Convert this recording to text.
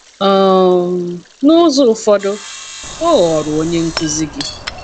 um N'ụzọ ụfọdụ, ọ ghọrọ onye nkuzi gị.